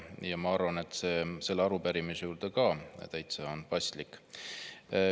Ja ma arvan, et see on selle arupärimise juures ka täitsa paslik.